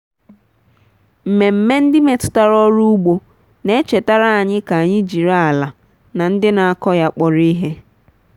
mmemme ndị metụtara ọrụ ugbo na-echetara anyị ka anyị jiri ala na ndị na-akọ ya kpọrọ ihe.